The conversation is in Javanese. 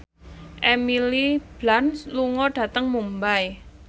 Emily Blunt lunga dhateng Mumbai